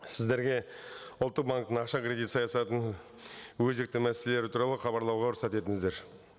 сіздерге ұлттық банктің ақша кредит саясатының өзекті мәселелері туралы хабарлауға рұқсат етіңіздер